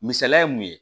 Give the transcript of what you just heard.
Misaliya ye mun ye